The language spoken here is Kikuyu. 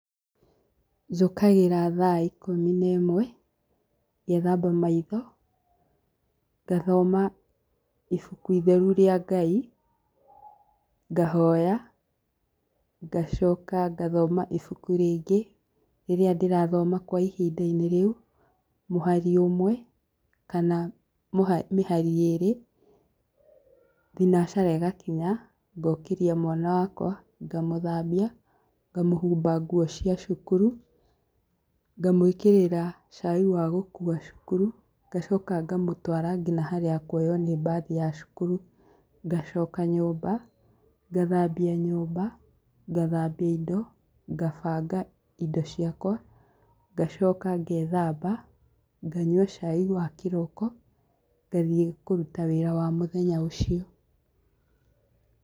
Njũkagĩra thaa ikumi na ĩmwe, ngethamba maitho, ngathoma ibuku itheru rĩa Ngai, ngahoya ,ngacoka ngathoma ibuku rĩngĩ rĩrĩa ndĩrathoma kwa ihindainĩ rĩu mũhari ũmwe kana mũha mĩhari ĩrĩ. Thinacara ĩgakinya ngokĩria mwana wakwa, ngamũthambia, ngamũhũmba nguo cia cukuru, ngamwĩkĩrĩra cai wa gũkua cukuru, ngacoka ngamũtwara nginya harĩa akuoywo nĩ mbathi ya cukuru, ngacoka nyũmba, ngathambia nyũmba, ngathambia indo, ngabanga indo ciakwa, ngacoka ngethamba, nganyua cai wa kĩroko ngathiĩ kũrũta wĩra wa mũthenya ũcio.